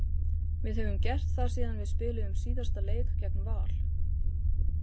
Við höfum gert það síðan við spiluðum síðasta leik gegn Val.